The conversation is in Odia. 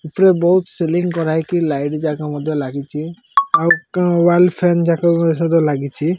ଏଥିରେ ବୋହୁତ୍ ସିଲିଙ୍ଗ୍ କରାହେଇକି ଲାଇଟ୍ ଜାଗା ମଧ୍ୟ ଲାଗିଚି ଆଉ କା ୱାଲ୍ ଫାନ୍ ଯାକ କ ମଧ୍ଯ ଲାଗିଚି।